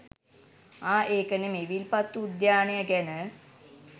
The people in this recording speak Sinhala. ආ ඒක නෙමෙයි විල්පත්තු උද්‍යානය ගැන